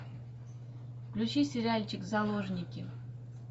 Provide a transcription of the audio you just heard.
включи сериальчик заложники